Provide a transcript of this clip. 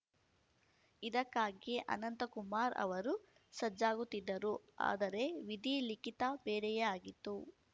ಇದಕ್ಕಾಗಿಯೇ ಅನಂತಕುಮಾರ್ ಅವರೂ ಸಜ್ಜಾಗುತ್ತಿದ್ದರು ಆದರೆ ವಿಧಿ ಲಿಖಿತ ಬೇರೆಯೇ ಆಗಿತ್ತು